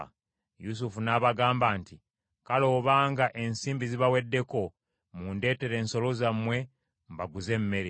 Yusufu n’abagamba nti, “Kale obanga ensimbi zibaweddeko mundeetere ensolo zammwe mbaguze emmere.”